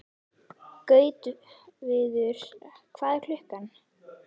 Gautviður, hvað er klukkan?